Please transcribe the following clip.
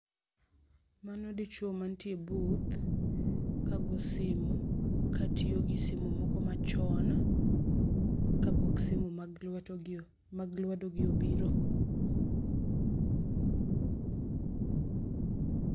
Mano dichuo ma nitie e booth kago simo ka tiyo gi simo moko machon kapok simo mag lweto gi ,mag lwedo gi obiro.